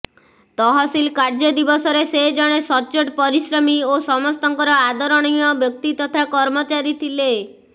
ତହସିଲ କାର୍ଯ୍ୟ ଦିବସରେ ସେ ଜଣେ ସଚ୍ଚୋଟ ପରିଶ୍ରମୀ ଓ ସମସ୍ତଙ୍କର ଆଦରଣୀୟ ବ୍ଯକ୍ତି ତଥା କର୍ମଚାରୀ ଥିଲେ